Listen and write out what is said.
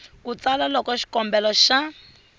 ku tsala loko xikombelo xa